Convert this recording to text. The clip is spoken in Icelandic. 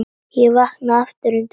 Ég vaknaði aftur undir morgun.